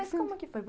Mas como é que foi?